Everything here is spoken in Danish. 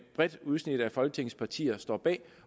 bredt udsnit af folketingets partier står bag